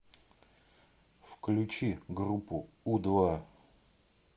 включи группу у два